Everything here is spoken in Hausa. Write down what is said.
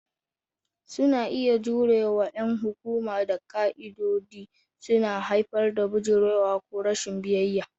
Suna iya jure wa ƴan hukuma da ƙa'idodi, suna haifar da bijirewa ko rashin biyayya.